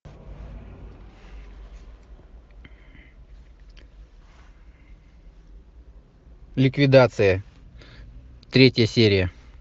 ликвидация третья серия